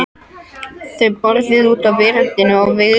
Þau borðuðu úti á veröndinni og Vigdís